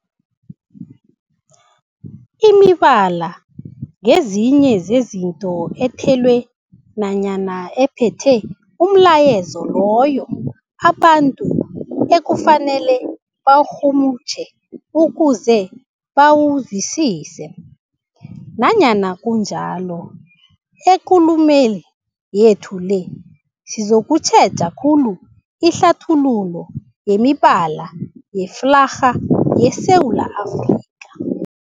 Imibala ngezinye zezinto ethelwe nanyana ephethe umlayezo loyo abantu ekufanele bawurhumutjhe ukuze bawuzwisise. Nanyana kunjalo, ekulumeni yethu le sizokutjheja khulu ihlathululo yemibala yeflarha yeSewula Afrika.